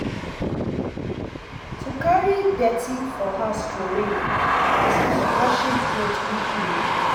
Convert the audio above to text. To carry dirty for house trowey vs washing cloth weekly